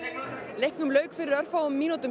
leiknum lauk fyrir örfáum mínútum